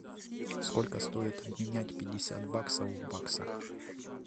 сколько стоит обменять пятьдесят баксов в баксах